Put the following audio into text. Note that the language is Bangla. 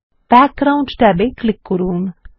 ব্যাকগ্রাউন্ড ট্যাবে ক্লিক করুন